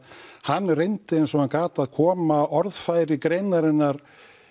hann reyndi eins og hann gat að koma orðfæri greinarinnar